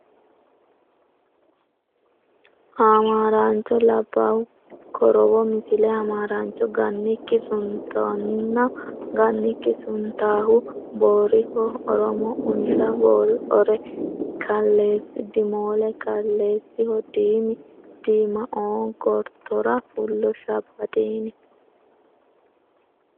Hamaaraancho Labbaahu korowo Misile Hamaaraancho Gannikki suuntanno Gannikki suuntaahu Booriho Oromo Unsha Boori Ore Kaleessi Diimoole Kaleessiho Diimi Diimaoo gortora fullo Shabbadiini.